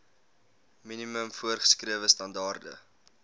minimum voorgeskrewe standaarde